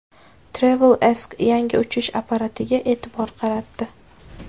TravelAsk yangi uchish apparatiga e’tibor qaratdi .